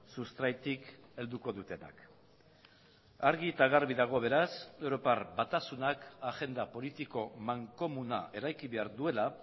sustraitik helduko dutenak argi eta garbi dago beraz europar batasunak agenda politiko mankomuna eraiki behar duela